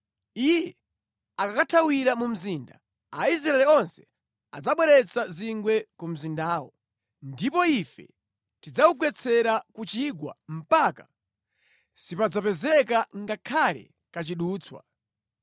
Iye akakathawira mu mzinda, Aisraeli onse adzabweretsa zingwe ku mzindawo, ndipo ife tidzawugwetsera ku chigwa mpaka sipadzapezeka ngakhale kachidutswa.”